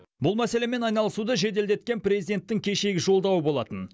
бұл мәселемен айналысуды жеделдеткен президенттің кешегі жолдауы болатын